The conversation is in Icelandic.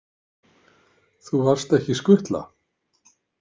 Þú varst ekki skutla?